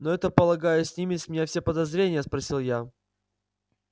но это полагаю снимет с меня все подозрения спросил я